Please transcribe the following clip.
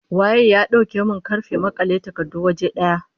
Waye ya dauke min karfen makale takardu waje daya?